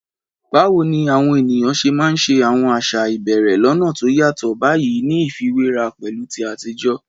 Báwo ni àwọn ènìyàn ṣe máa ń ṣe àwọn àṣà ìbẹ̀rẹ̀ lọ́nà tó yàtọ̀ báyìí ní ìfiwéra pẹ̀lú ti àtijọ́?